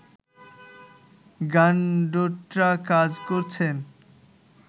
গানডোট্রা কাজ করেছেন